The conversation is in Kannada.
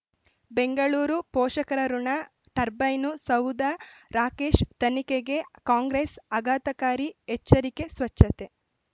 ಬೆಂಗಳೂರು ಪೋಷಕರಋಣ ಟರ್ಬೈನು ಸೌಧ ರಾಕೇಶ್ ತನಿಖೆಗೆ ಕಾಂಗ್ರೆಸ್ ಆಘಾತಕಾರಿ ಎಚ್ಚರಿಕೆ ಸ್ವಚ್ಛತೆ